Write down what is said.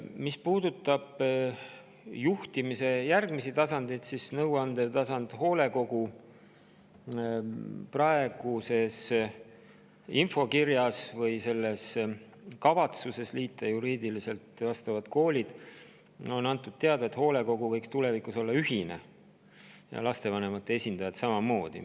Mis puudutab juhtimise järgmisi tasandeid, siis nõuandva tasandi, hoolekogu kohta on praeguses infokirjas või kavatsuses need koolid juriidiliselt liita antud teada, et hoolekogu võiks tulevikus olla ühine, lastevanemate esindajad samamoodi.